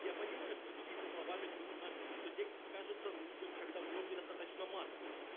я понимаю что следить за словами трудно что текст кажется нудным когда в нём недостаточно мата